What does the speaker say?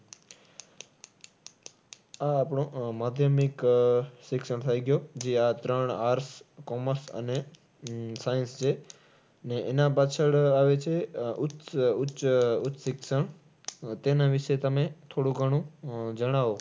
આ આપણે આહ માધ્યમિક આહ શિક્ષણ થઈ ગયું. જે આ ત્રણ arts, commerce, અને science છે. અને એના પાછળ આવે છે આહ ઉચ્ચ, ઉચ્ચ આહ ઉચ્ચ શિક્ષણ. તેના વિશે તમે થોડું ઘણું જણાવો.